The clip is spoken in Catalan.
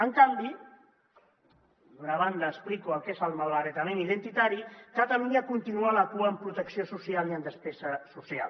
en canvi d’una banda explico el que és el malbaratament identitari catalunya continua a la cua en protecció social i en despesa social